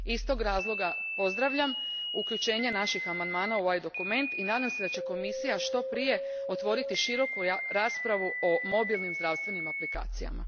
Iz tog razloga pozdravljam uključenje naših amandmana u ovaj dokument i nadam se da će Komisija što prije otvoriti široku raspravu o mobilnim zdravstvenim aplikacijama.